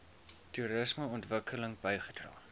toerisme ontwikkeling bygedra